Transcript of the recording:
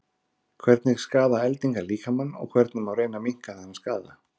hvernig skaða eldingar líkamann og hvernig má reyna að minnka þann skaða